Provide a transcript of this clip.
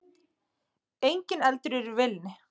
Enginn eldur í vélinni